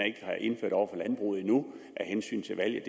ikke har indført over for landbruget af hensyn til valget